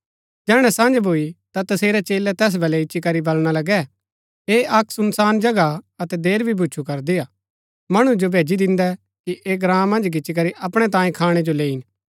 जैहणै सँझ भूई ता तसेरै चेलै तैस बलै इच्ची करी बलणा लगै ऐह अक्क सुनसान जगह हा अतै देर भी भूचु करदी हा मणु जो भैजी दिन्दै कि ऐह ग्राँ मन्ज गिच्ची करी अपणै तांयें खाणै जो लैईन